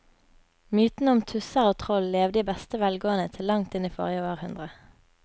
Mytene om tusser og troll levde i beste velgående til langt inn i forrige århundre.